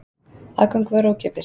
Aðgangur var ókeypis